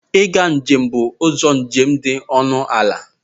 Ịga njem bụ ụzọ njem dị ọnụ ala.